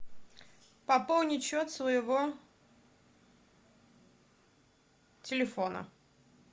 пополнить счет своего телефона